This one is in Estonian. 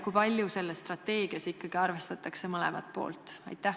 Kui palju selles strateegias ikkagi arvestatakse mõlemat poolt?